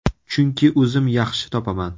Chunki o‘zim yaxshi topaman.